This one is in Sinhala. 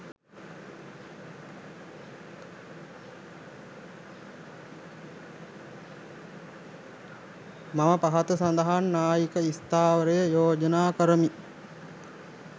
මම පහත සඳහන් න්‍යායික ස්ථාවරය යෝජනා කරමි